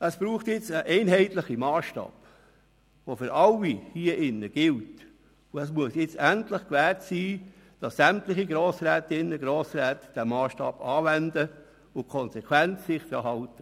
Es braucht jetzt einen einheitlichen Massstab, der für alle gilt, und es muss jetzt endlich gewährleistet sein, dass sämtliche Grossrätinnen und Grossräte denselben Massstab anwenden und sich konsequent verhalten.